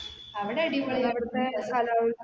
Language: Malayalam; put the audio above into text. അവിടെ അടിപൊളിയാ